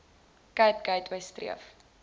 cape gateway streef